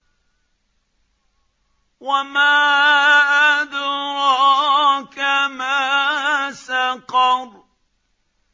وَمَا أَدْرَاكَ مَا سَقَرُ